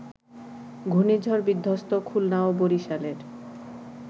ঘূর্ণিঝড়-বিধ্বস্ত খুলনা ও বরিশালের